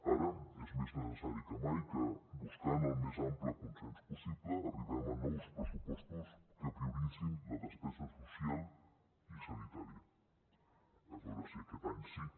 ara és més necessari que mai que buscant el més ampli consens possible arribem a nous pressupostos que prioritzin la despesa social i sanitària a veure si aquest any sí